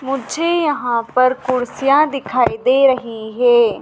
मुझे यहां पर कुर्सियां दिखाई दे रही हैं।